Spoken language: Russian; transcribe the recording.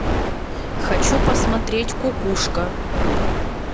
хочу посмотреть кукушка